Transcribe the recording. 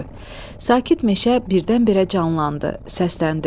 Sakit meşə birdən-birə canlandı, səsləndi.